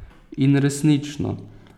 In resnično!